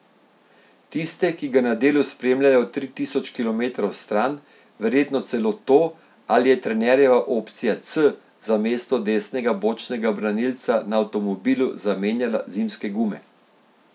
Tiste, ki ga na delu spremljajo tri tisoč kilometrov stran, verjetno celo to, ali je trenerjeva opcija C za mesto desnega bočnega branilca na avtomobilu zamenjala zimske gume.